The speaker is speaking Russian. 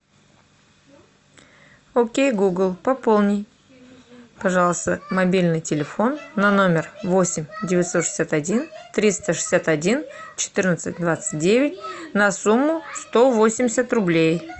окей гугл пополни пожалуйста мобильный телефон на номер восемь девятьсот шестьдесят один триста шестьдесят один четырнадцать двадцать девять на сумму сто восемьдесят рублей